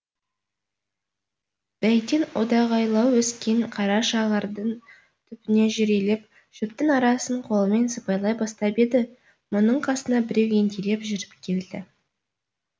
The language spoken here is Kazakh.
бәйтен одағайлау өскен қара шағырдың түбіне жүрелеп шөптің арасын қолымен сипалай бастап еді мұның қасына біреу ентелеп жүгіріп келді